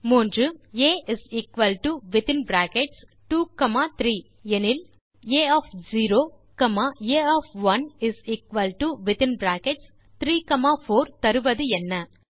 மூன்றாவது கேள்வி ஆ 2 3 ஆனால் a0 a1 3 4 தருவது என்ன